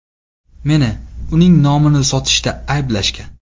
Meni uning nomini sotishda ayblashgan.